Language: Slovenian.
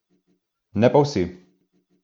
Ne pa vsi.